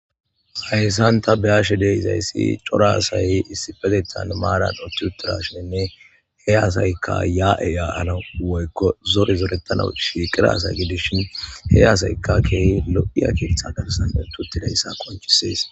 hayssanta beashe deizayssi cora asay issipetetan maaran otti uttarasheenne he asaykka ya7eyaana woykko zore zorettana shiiqira asay gidis shin he asaykka keehi lo7iya kiittha dabsane tuttidayssa konchisees